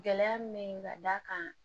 Gɛlɛya min bɛ yen ka d'a kan